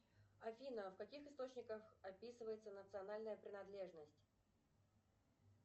афина в каких источниках описывается национальная принадлежность